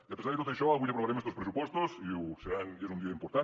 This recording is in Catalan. i a pesar de tot això avui aprovarem estos pressupostos i és un dia important